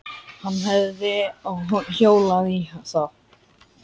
Hann hefði hjólað í þá.